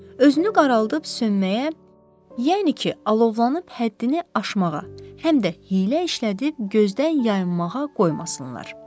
Özünü qaraldıb sönməyə, yəni ki, alovlanıb həddini aşmağa, həm də hiylə işlədib gözdən yayınmağa qoymasınlar.